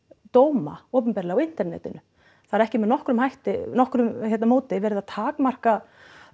dóma opinberlega á internetinu það er ekki með nokkru nokkru móti verið að takmarka